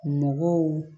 Mɔgɔw